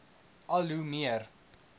al hoe meer